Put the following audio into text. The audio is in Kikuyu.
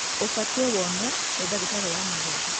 Ũbatiĩ wonekane nĩ ndagitarĩ wa magego.